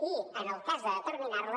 i en el cas de determinar les